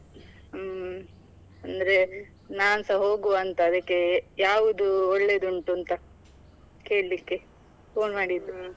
ಹ್ಮ್, ಅಂದ್ರೆ ನಾನ್ಸ ಹೋಗುವಂತ ಅದಕ್ಕೆ ಯಾವುದು ಒಳ್ಳೇದುಂಟು ಅಂತ ಕೇಳಿಕ್ಕೆ phone ಮಾಡಿದ್ದು.